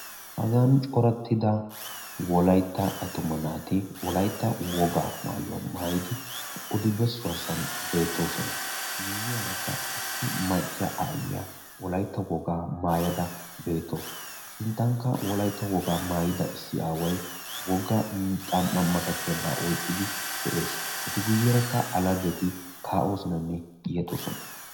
Hagaan coratida wolaytta attuma naati wolaytta wogaa maayuwaa maayidi odi bessuwa sohuwan beettoosona. Miyyiyaarakka Issi aayiyyaa wolaytta wogaa maayada beettaasu, sinttankka wolaytta wogaa maayida issi aaway wogga xam"aa massatiyaabaa oyqqidi de'ees. Sinttankka a laheti kaa'oosonanne yeexxoosona.